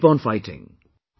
Keep on fighting